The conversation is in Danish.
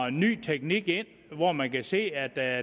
en ny teknik ind hvoraf man kan se at der